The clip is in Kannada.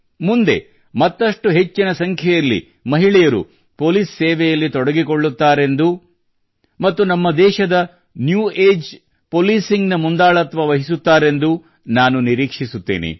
ಮುಂದೆ ಮತ್ತಷ್ಟು ಹೆಚ್ಚಿನ ಸಂಖ್ಯೆಯಲ್ಲಿ ಮಹಿಳೆಯರು ಪೊಲೀಸ್ ಸೇವೆಯಲ್ಲಿ ತೊಡಗಿಕೊಳ್ಳುತ್ತಾರೆಂದು ಮತ್ತು ನಮ್ಮ ದೇಶದ ನ್ಯೂ ಅಗೆ ಪಾಲೀಸಿಂಗ್ ನ ಮುಂದಾಳತ್ವ ವಹಿಸುತ್ತಾರೆಂದೂ ನಾನು ನಿರೀಕ್ಷಿಸುತ್ತೇನೆ